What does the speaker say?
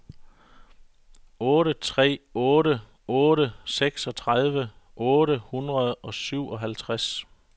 otte tre otte otte seksogtredive otte hundrede og syvoghalvtreds